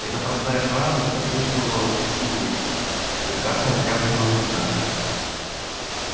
эта простая фраза подействовала на семейство как красная тряпка на быка